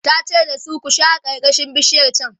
tace da su "ku share karkashin bishiyar chan!"